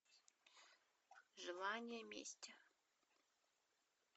желание мести